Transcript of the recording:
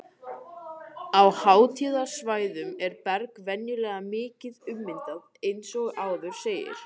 Á háhitasvæðunum er berg venjulega mikið ummyndað eins og áður segir.